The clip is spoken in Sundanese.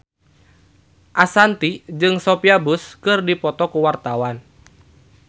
Ashanti jeung Sophia Bush keur dipoto ku wartawan